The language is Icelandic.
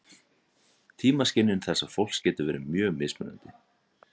Tímaskynjun þessa fólks getur verið mjög mismunandi.